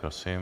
Prosím.